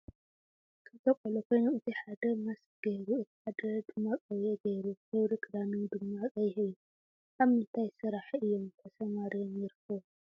ክልተ ቆልዑ ኮይኖም እቲ ሓደ ማስክ ገይሩ እቲ ሓደ ድማ ቆቢዕ ገይሩ ። ሕብሪ ክዳኖም ድማ ቀይሕ እዩ። ኣብ ምንታይ ስራሕቲ እዩም ተሰማርዮም ይርከቡ?